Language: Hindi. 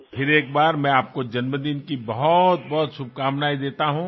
और फिर एक बार मैं आपको जन्मदिन की बहुतबहुत शुभकामनाएं देता हूँ